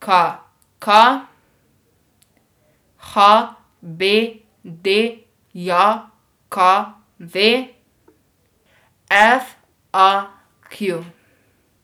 K K; H B D J K V; F A Q.